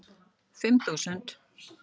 Fimm þúsund